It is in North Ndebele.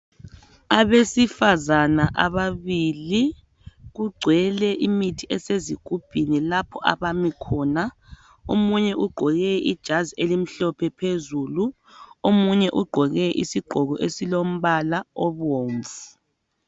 Abesifazane ababili kugcwele imithi esezigubhini lapho abami khona omunye ugqoke ijazi elimhlophe phezulu omunye ugqoke ijazi elilombala obumvu